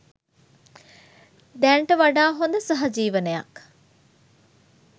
දැනට වඩා හොඳ සහජීවනයක්